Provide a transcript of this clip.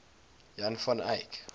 jan van eyck